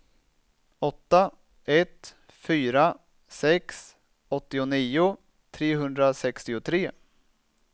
åtta ett fyra sex åttionio trehundrasextiotre